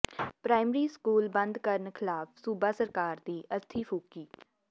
primary school ਬੰਦ ਕਰਨ ਖ਼ਿਲਾਫ਼ ਸੂਬਾ ਸਰਕਾਰ ਦੀ ਅਰਥੀ ਫੂਕੀ